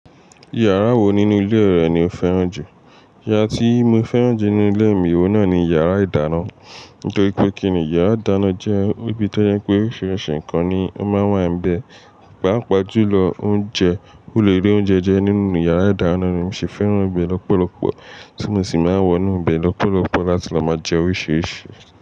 Yàrá wo nínú ilé rẹ ni o fẹ́ràn jù? Yá tí mo fẹ́ràn jù nínú ilé mi, ohun náà ni yàrá ìdáná. Nítorí pé kíni yàrá ìdáná jẹ́ ibi tó yẹ pé oríṣiríṣi nǹkan ni ó máa ń wà níbẹ̀. Pápajúlọ oúnjẹ, mo le ri oúnjẹ jẹ́ nínú yàrá ìdáná ni mo sì fẹ́ràn ibẹ̀ lọ́pọ̀lọpọ̀, tí mo sì máa ń wọ̀nú ibẹ̀ lọ́pọ̀lọpọ̀ láti lọ máa jẹ́ oríṣiríṣi.